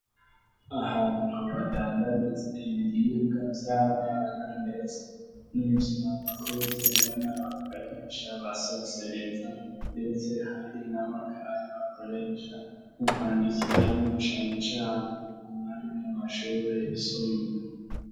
Ahantu badandagitze ibiriyibwa vy'abana, ndetse n'ivyo abakuzeba n'abakoresha basosereza, ndetse hari na makazi bakoresha mu kwandikiranyo canecaro mu mwari mu mashuri yisumbure.